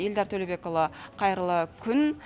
эльдар төлеубекұлы қайырлы күн